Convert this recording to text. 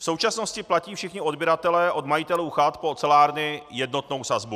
V současnosti platí všichni odběratelé od majitelů chat po ocelárny jednotnou sazbu.